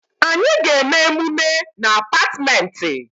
Anyị ga-eme emume na Apartmentị